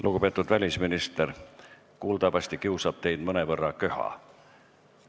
Lugupeetud välisminister, kuuldavasti kiusab teid mõnevõrra köha.